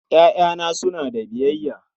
Ƴaƴana suna da biyayya.